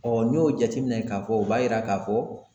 n'i y'o jateminɛ ka fɔ o b'a yira ka fɔ